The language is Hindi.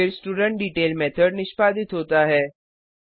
फिर स्टुडेंटडेटेल मेथड निष्पादित होता है